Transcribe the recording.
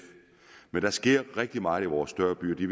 men der sker rigtig meget i vores større byer de